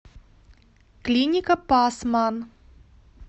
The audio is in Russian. клиника пасман